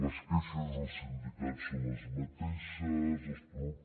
les queixes dels sindicats són les mateixes els prof